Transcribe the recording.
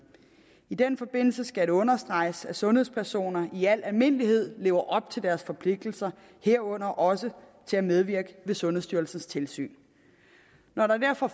i den forbindelse skal det understreges at sundhedspersoner i al almindelighed lever op til deres forpligtelser herunder også til at medvirke ved sundhedsstyrelsens tilsyn når det derfor